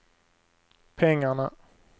pengarna